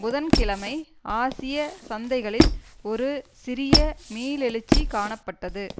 புதன் கிழமை ஆசிய சந்தைகளில் ஒரு சிறிய மீளெழுச்சி காணப்பட்டது